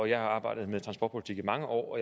jeg har arbejdet med transportpolitik i mange år